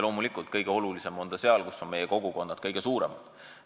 Loomulikult, kõige olulisem on see seal, kus on meie kogukonnad kõige suuremad.